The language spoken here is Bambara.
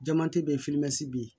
Jamati bɛ ye bɛ yen